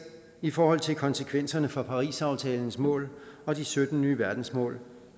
i forhold til konsekvenserne for parisaftalens mål og de sytten nye verdensmål